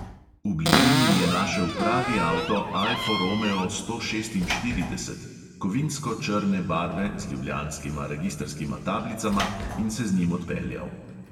V bližini je našel pravi avto alfo romeo sto šestinštirideset, kovinsko črne barve, z ljubljanskima registrskima tablicama, in se z njim odpeljal.